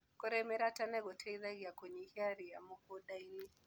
Kũrĩmĩra tene gũteithagia kũnyihia ria mũgundainĩ.